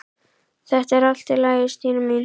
Þetta er allt í lagi, Stína mín.